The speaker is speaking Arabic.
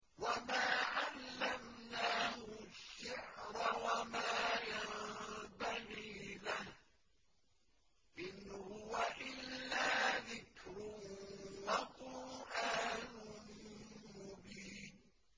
وَمَا عَلَّمْنَاهُ الشِّعْرَ وَمَا يَنبَغِي لَهُ ۚ إِنْ هُوَ إِلَّا ذِكْرٌ وَقُرْآنٌ مُّبِينٌ